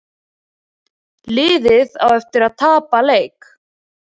Liðið á eftir að tapa leik